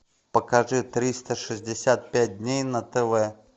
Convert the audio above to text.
покажи триста шестьдесят пять дней на тв